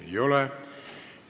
Ei ole.